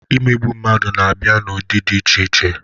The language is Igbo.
Imegbu mmadụ na-abịa n'ụdị dị iche iche.